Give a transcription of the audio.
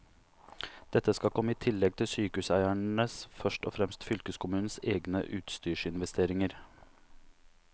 Dette skal komme i tillegg til sykehuseiernes, først og fremst fylkeskommunenes, egne utstyrsinvesteringer.